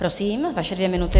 Prosím, vaše dvě minuty.